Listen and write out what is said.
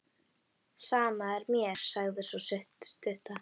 Sama er mér, sagði sú stutta.